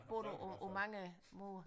Bor du på på mange måder